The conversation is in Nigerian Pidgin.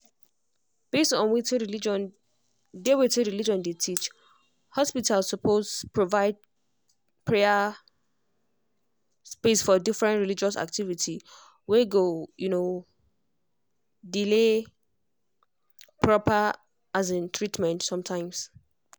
based on wetin religion dey wetin religion dey teach hospital suppose provide prayer space for different religious activity were go um delay proper um treatment sometimes.